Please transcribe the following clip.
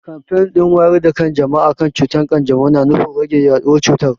Kamfen din wayar da kan jama'a kan cutar kanjamau na nufin rage yaduwar cutar.